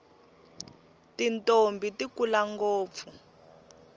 tintombhi ti kula ngopfu